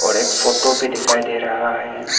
एक फोटो भी दिखाई दे रहा है।